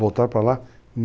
Voltaram para lá,